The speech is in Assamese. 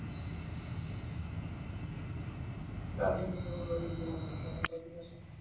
girl friend ৰ লগত, তোমাৰ লগত কথা পাতি আছো